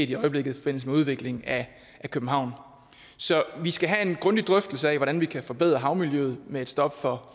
i øjeblikket i forbindelse med udvikling af københavn så vi skal have en grundig drøftelse af hvordan vi kan forbedre havmiljøet med et stop for